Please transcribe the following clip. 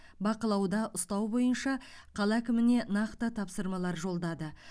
бақылауда ұстау бойынша қала әкіміне нақты тапсырмалар жолдады